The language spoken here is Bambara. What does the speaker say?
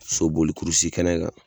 Soboli kurusi kɛnɛ kan